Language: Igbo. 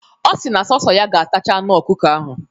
Ọ si na sọọsọ ya ga-atacha anụ ọkụkọ ahụ.